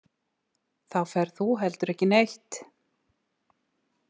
Þá ferð þú heldur ekki neitt.